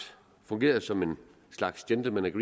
fungerede som en slags gentlemens